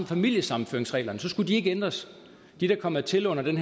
familiesammenføringsreglerne skulle de ikke ændres de der kom hertil under den